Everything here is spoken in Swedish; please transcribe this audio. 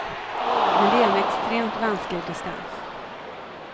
Men det är en extremt vansklig distans.